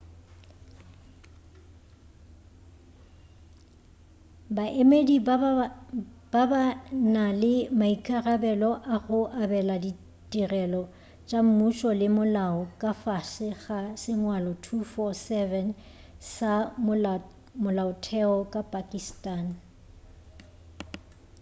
baemedi ba ba na le maikarabelo a go abela ditirelo tša mmušo le molao ka fase ga sengwalo 247 sa molaotheo wa pakistani